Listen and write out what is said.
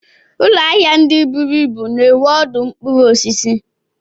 Ụlọahia ndị buru ibu na-enwe ọdụ mkpụrụ osisi.